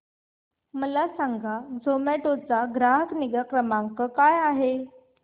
मला सांगा झोमॅटो चा ग्राहक निगा क्रमांक काय आहे